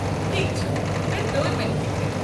ٹھیكھ چھُ مےٚ توٚر وۄنۍ فِكرِ۔